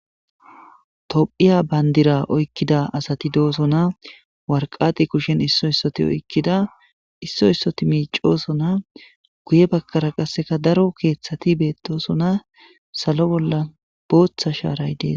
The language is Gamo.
tophiya bandira oykkida asati doosona warqati kushen isso issoti oykkida isso issoti miicosona guye bakkara qasseka daro keeththati beettosona salo bolla booththa shaaray dees